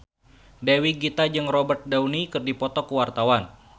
Dewi Gita jeung Robert Downey keur dipoto ku wartawan